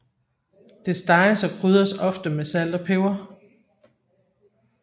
Det steges og krydres ofte med salt og peber